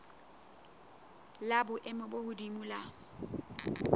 la boemo bo hodimo la